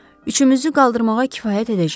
Üçümüzü qaldırmağa kifayət edəcək.